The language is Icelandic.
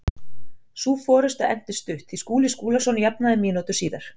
Sú forusta entist stutt því Skúli Skúlason jafnaði mínútu síðar.